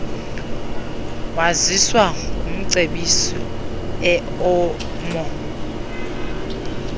waziswa ngumcebisi emou